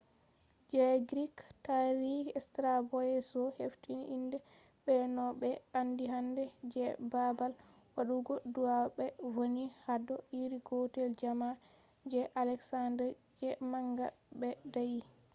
je greek tarihi straboyeso hefti inde be no be andi hande. je babal wadugo du’a be vonni hado iri gotel jamma je alexander the manga be dayyi